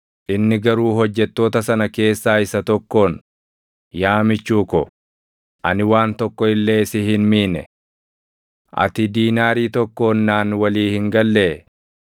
“Inni garuu hojjettoota sana keessaa isa tokkoon, ‘Yaa michuu ko, ani waan tokkoon illee si hin miine. Ati diinaarii tokkoon naan walii hin gallee?